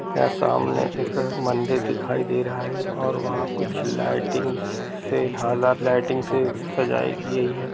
यह सामने एक मंदिर दिखाई दे रहा है और वहां कुछ लाइटिंग से हां लाइटिंग से सजाई गई है।